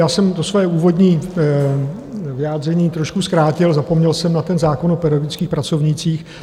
Já jsem to svoje úvodní vyjádření trošku zkrátil, zapomněl jsem na ten zákon o pedagogických pracovnících.